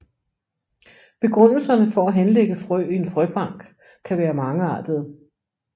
Begrundelserne for at henlægge frø i en frøbank kan være mangeartede